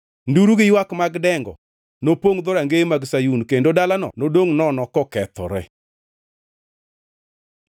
Nduru gi ywak mag dengo nopongʼ dhorongeye mag Sayun, kendo dalano nodongʼ nono kokethore.